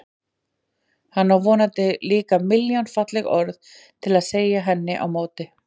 Hann á vonandi líka milljón falleg orð til að segja henni á móti.